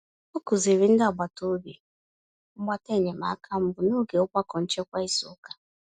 Ọ kụziri ndị agbata obi mgbata enyemaka mbụ n'oge ogbako nchekwa izu ụka.